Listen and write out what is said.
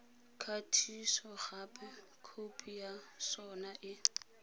kgatisogape khopi ya sona e